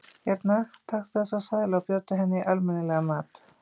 Hérna, taktu þessa seðla og bjóddu henni í almenni- legan mat.